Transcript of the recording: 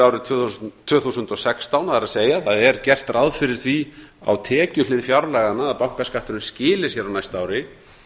árið tvö þúsund og sextán það er það er gert ráð fyrir því á tekjuhlið fjárlaganna að bankaskatturinn skili sér á næsta ári